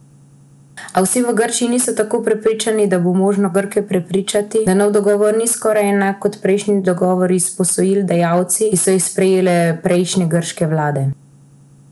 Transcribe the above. A vsi v Grčiji niso tako prepričani, da bo možno Grke prepričati, da nov dogovor ni skoraj enak kot prejšnji dogovori s posojilodajalci, ki so jih sklepale prejšnje grške vlade.